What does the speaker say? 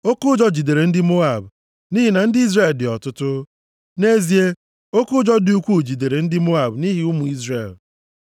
Oke ụjọ jidere ndị Moab nʼihi na ndị Izrel dị ọtụtụ. Nʼezie, oke ụjọ dị ukwuu jidere ndị Moab nʼihi ụmụ Izrel.